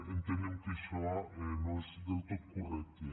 entenem que això no és del tot correcte